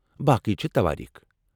باقی چھِ توٲریٖخ!